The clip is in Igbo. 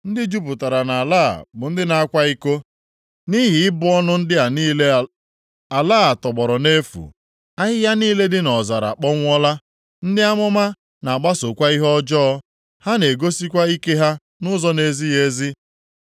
Ndị jupụtara nʼala a bụ ndị na-akwa iko. Nʼihi ịbụ ọnụ ndị a niile ala a tọgbọrọ nʼefu, ahịhịa niile dị nʼọzara akpọnwụọla. Ndị amụma na-agbasokwa ihe ọjọọ. Ha na-egosikwa ike ha nʼụzọ na-ezighị ezi.